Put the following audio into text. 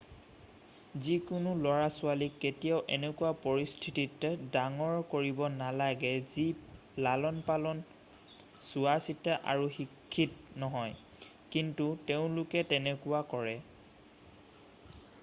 যিকোনো লৰাছোৱালীক কেতিয়াও এনেকুৱা পৰিস্থিতিত ডাঙৰ কৰিব নালাগে যি লালনপালন চোৱাচিতা আৰু শিক্ষিত নহয় কিন্তু তেওঁলোকে তেনেকুৱা কৰে ।